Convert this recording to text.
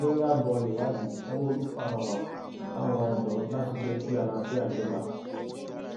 lórí abọ ìwádìí sanwóolu pàrọwà sáwọn ọdọ láti jẹ kí àlàáfíà jọba